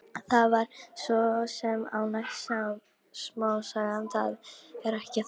Þetta var svo sem ágæt smásaga, það er ekki það.